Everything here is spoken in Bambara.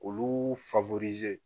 Olu